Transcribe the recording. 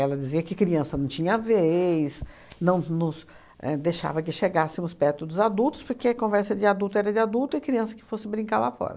dizia que criança não tinha a vez, não nos é deixava que chegássemos perto dos adultos, porque conversa de adulto era de adulto e criança que fosse brincar lá fora.